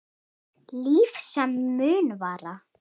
Líf sem mun vara.